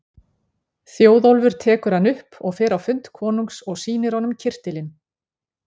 Þjóðólfur tekur hann upp og fer á fund konungs og sýnir honum kyrtilinn.